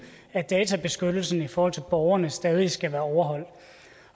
at databeskyttelsen i forhold til borgerne stadig skal være overholdt